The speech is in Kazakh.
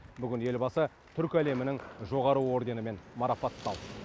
бүгін елбасы түркі әлемінің жоғары орденімен марапатталды